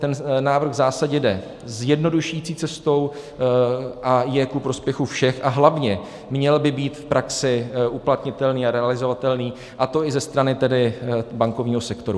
Ten návrh v zásadě jde zjednodušující cestou a je ku prospěchu všech a hlavně, měl by být v praxi uplatnitelný a realizovatelný, a to i ze strany bankovního sektoru.